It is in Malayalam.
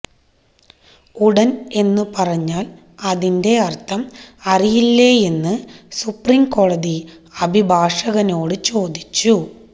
ഉടൻ എന്ന് പറഞ്ഞാൽ അതിന്റെ അർത്ഥം അറിയില്ലേയെന്ന് സുപ്രീംകോടതി അഭിഷാകനോട് ചോദിച്ചു